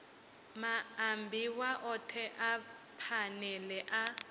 maambiwa othe a phanele a